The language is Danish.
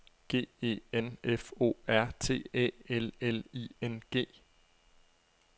G E N F O R T Æ L L I N G